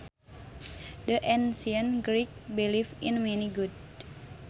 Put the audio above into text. The Ancient Greeks believed in many gods